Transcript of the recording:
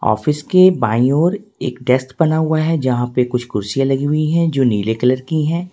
Office के बाई और एक डेस्क बना हुआ है जहां पे कुछ कुर्सियां लगी हुई है जो नीले कलर की है।